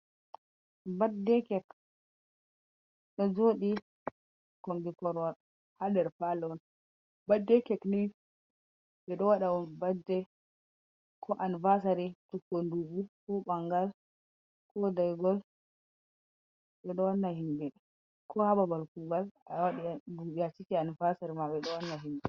Badde kek ɗo joɗi kombi Korwal ha nder Palo'on. Badde kekni ɓe ɗou waɗa'on badde ko Anuvasari cikugo nduɓu ko ɓangal, ko daigol ɓe ɗo wanna himɓe, ko ha babal Kuugal awaɗi dubi aciki anuvasari ma, ɓe ɗou wannan himɓe.